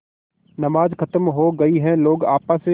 नमाज खत्म हो गई है लोग आपस